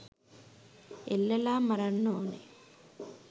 එල්ලලා මරන්න ඕනේ